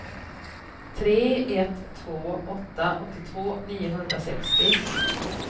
tre ett två åtta åttiotvå niohundrasextio